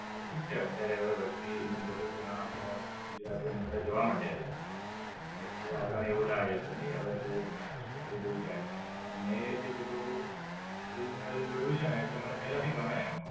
આ તો ઠીક છે અત્યારે હવે વસ્તી નું બધું ત્યાં આપડા ગુજરાતીઓ બધા ત્યાં જવા મંડ્યા છે. એટલે થોડું આપડા ને એવું લાગે કે નઈ હવે બોવ વસ્તી બધી બોવ જાય છે પણ મેં જેટલું original જોયું છેને એટલે મને પેલા થી ગમે એમ.